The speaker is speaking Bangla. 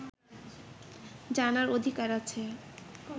জানার অধিকার আছে